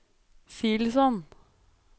Silsand